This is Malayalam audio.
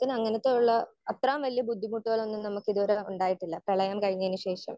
സ്പീക്കർ 1 അങ്ങനെത്തെ ഉള്ള അത്രേം വലിയ ഒരു ബുദ്ധിമുട്ടൊന്നും നമുക്ക് ഇത് വരെ ഉണ്ടായിട്ടില്ല പ്രളയം കഴിഞ്ഞതിന് ശേഷം.